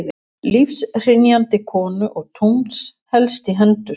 lífshrynjandi konu og tungls helst í hendur